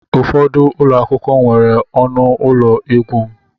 Ụfọdụ ụlọ akwụkwọ nwere ọnụ ụlọ egwu m.